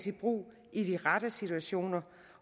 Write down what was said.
i brug i de rette situationer